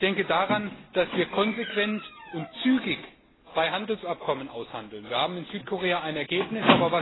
Ich denke daran, dass wir konsequent und zügig Freihandelsabkommen aushandeln. Wir haben in Südkorea ein Ergebnis.